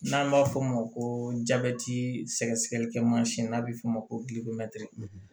N'an b'a f'o ma ko jabɛti sɛgɛsɛgɛlikɛ mansin n'a bɛ f'o ma ko